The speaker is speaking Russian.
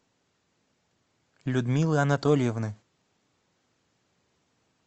людмилы анатольевны